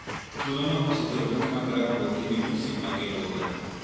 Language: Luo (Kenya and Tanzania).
Tulono osethiro okange mag rakruok gi midusi mag ebola.